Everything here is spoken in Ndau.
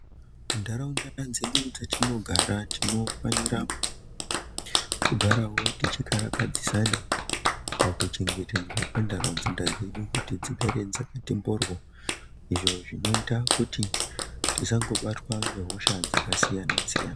Muntaraunda dzedu dzatinogara tinofanira kugarawo techikarakadzisana pakuchengetedzwa kwentaraunda dzedu kuti dzigare dzakati mboryo izvo zvinoita kuti tisangobatwa nehosha dzakasiyana siyana.